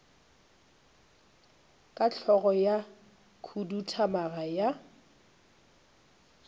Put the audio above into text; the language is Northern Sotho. ka hlogo ya khuduthamaga ya